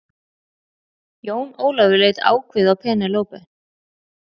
Jón Ólafur leit ákveðið á Penélope.